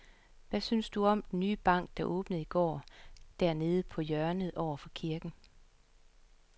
Hvad synes du om den nye bank, der åbnede i går dernede på hjørnet over for kirken?